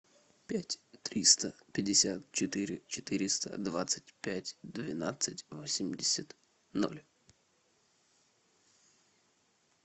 пять триста пятьдесят четыре четыреста двадцать пять двенадцать восемьдесят ноль